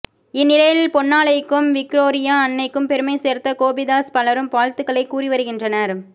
இந்நிலையில் பொன்னாலைக்கும் விக்ரோறியா அன்னைக்கும் பெருமை சேர்த்த கோபிதாஸ் பலரும் வாழ்த்துக்களை கூறிவருகின்றனர்